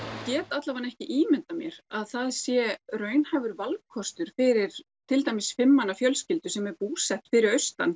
get allavega ekki ímyndað mér að það sé raunhæfur valkostur fyrir til dæmis fimm manna fjölskyldu sem er búsett fyrir austan